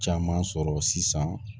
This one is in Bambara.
Caman sɔrɔ sisan